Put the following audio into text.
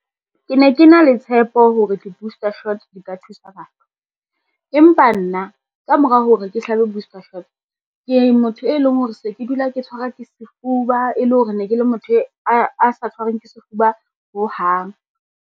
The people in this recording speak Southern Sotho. Ke ne ke na le tshepo hore di-booster shots di ka thusa batho, empa nna ka mora hore ke hlabe booster shot, ke motho e leng hore se ke dula ke tshwarwa ke sefuba e le hore ne ke le motho a sa tshwarweng ke sefuba ho hang.